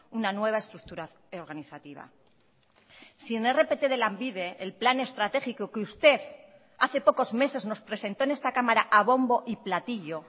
una nueva estructura organizativa sin rpt de lanbide el plan estratégico que usted hace pocos meses nos presentó en esta cámara a bombo y platillo